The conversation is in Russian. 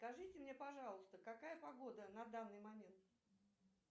скажите мне пожалуйста какая погода на данный момент